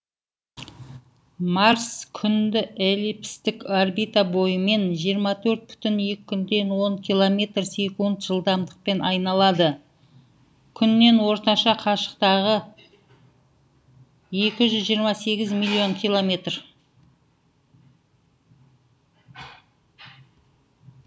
марс күнді эллипстік орбита бойымен жиырма төрт бүтін оннан екі километр секунд жылдамдықпен айналады күннен орташа қашықтығы екі жүз жиырма сегіз миллион километр